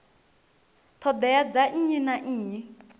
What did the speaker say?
ṱhoḓea dza nnyi na nnyi